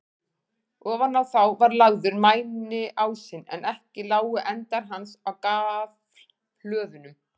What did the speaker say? Ofan á þá var lagður mæniásinn, en ekki lágu endar hans á gaflhlöðunum.